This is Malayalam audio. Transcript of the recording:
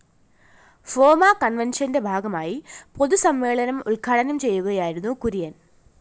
ഫോമ കണ്‍വെന്‍ഷന്റെ ഭാഗമായി പൊതുസമ്മേളനം ഉദ്ഘാടനം ചെയ്യുകയായിരുന്നു കുര്യന്‍